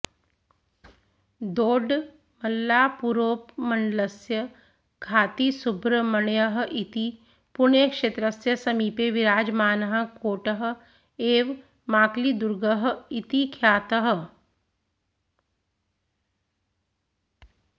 दोड्डबळ्ळापुरोपमण्डलस्य घातिसुब्रह्मण्यः इति पुण्यक्षेत्रस्य समीपे विराजमानः कोटः एव माकळिदुर्गः इति ख्यातः